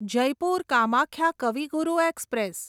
Jaipur Kamakhya Kavi Guru express